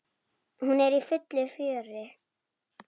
Hún er í fullu fjöri.